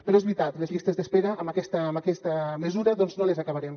però és veritat les llistes d’espera amb aquesta mesura doncs no les acabarem